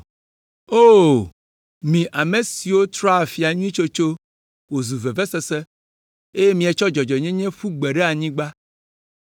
O, mi ame siwo trɔ afia nyui tsotso wòzu vevesese, eye mietsɔ dzɔdzɔenyenye ƒu gbe ɖe anyigba!